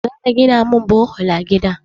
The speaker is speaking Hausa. Za a gina min bohol a gida na.